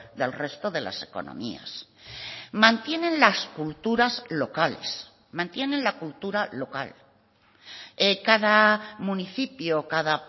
del resto de las economías mantienen las culturas locales mantienen la cultura local cada municipio cada